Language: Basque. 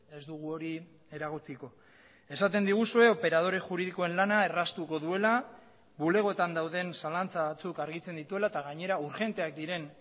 ez dugu hori eragotziko esaten diguzue operadore juridikoen lana erraztuko duela bulegoetan dauden zalantza batzuk argitzen dituela eta gainera urgenteak diren